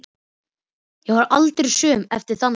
Ég varð aldrei söm eftir þann dag.